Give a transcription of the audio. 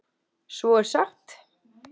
Svo er sagt.